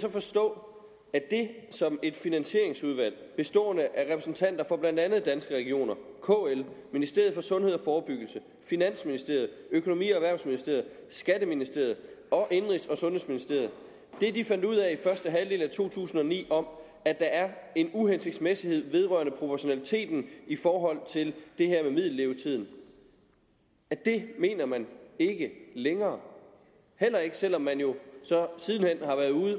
så forstå at det som et finansieringsudvalg bestående af repræsentanter for blandt andet danske regioner kl ministeriet for sundhed og forebyggelse finansministeriet økonomi og erhvervsministeriet skatteministeriet og indenrigs og sundhedsministeriet fandt ud af i første halvdel af to tusind og ni om at der er en uhensigtsmæssighed vedrørende proportionaliteten i forhold til det her med middellevetiden mener man ikke længere heller ikke selv om man jo så